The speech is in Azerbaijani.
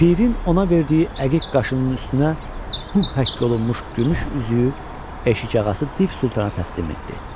Pirin ona verdiyi əqiq qaşının üstünə Hu həkk olunmuş gümüş üzüyü eşikağası Div Sultana təslim etdi.